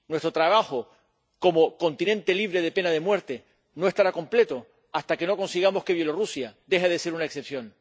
Nuestro trabajo, como continente libre de pena de muerte, no estará completo hasta que no consigamos que Bielorrusia deje de ser una excepción.